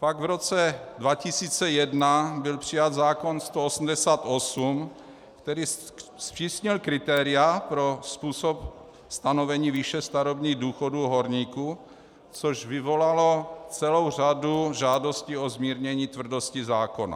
Pak v roce 2001 byl přijat zákon 188, který zpřísnil kritéria pro způsob stanovení výše starobních důchodů horníků, což vyvolalo celou řadu žádostí o zmírnění tvrdosti zákona.